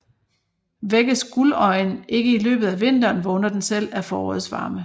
Vækkes guldøjen ikke i løbet af vinteren vågner den selv af forårets varme